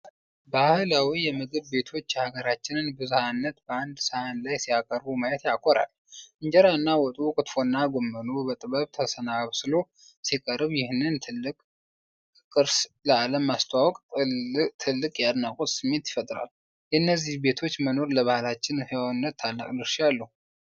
ባህላዊ የምግብ ቤቶች የሀገራችንን ብዝሀነት በአንድ ሳህን ላይ ሲያቀርቡ ማየት ያኮራል። እንጀራና ወጡ፣ ክትፎና ጎመኑ በጥበብ ተሰናስሎ ሲቀርብ፣ ይህንን ጥልቅ ቅርስ ለዓለም ማስተዋወቅ ትልቅ የአድናቆት ስሜት ይፈጥራል። የእነዚህ ቤቶች መኖር ለባህላችን ህያውነት ታላቅ ድርሻ አለው።